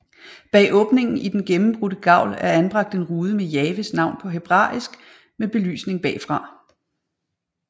Bag åbningen i den gennembrudte gavl er anbragt en rude med Jahves navn på hebræisk med belysning bagfra